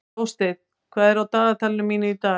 Jónsteinn, hvað er á dagatalinu mínu í dag?